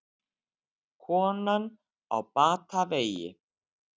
Konan á batavegi